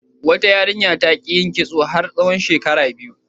Wata yarinya ta ƙi yin kitso har tsawon shekara biyu.